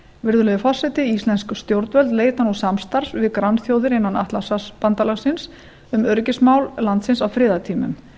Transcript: virðulegi forseti íslensk stjórnvöld leita nú samstarfs við grannþjóðir innan atlantshafsbandalagsins um öryggismál landsins á friðartímum